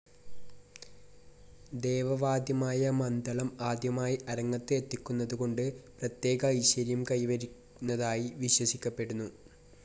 ദേവ വാദ്യമായ മദ്ദളം ആദ്യമായി അരങ്ങത്ത് എത്തിക്കുന്നതു കൊണ്ട് പ്രത്യേക ഐശ്വര്യം കൈവരുന്നതായി വിശ്വസിക്കപ്പെടുന്നു.